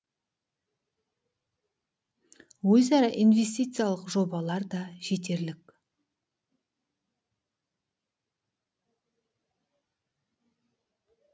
өзара инвестициялық жобалар да жетерлік